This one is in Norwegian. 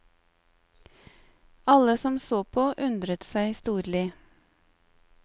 Alle som så på undret seg storlig.